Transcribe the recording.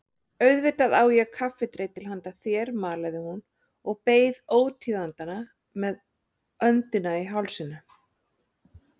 Auðvitað á ég kaffidreitil handa þér malaði hún og beið ótíðindanna með öndina í hálsinum.